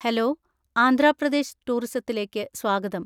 Hello, Andhra Pradesh ടൂറിസത്തിലേക്ക് സ്വാഗതം.